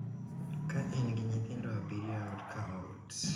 ka en gi nyithindo abiriyo e ot ka ot,